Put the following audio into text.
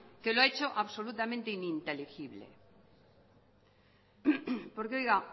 que lo ha hecho absolutamente ininteligible porque oiga